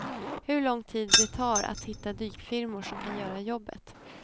Hur lång tid det tar att hitta dykfirmor som kan göra jobbet.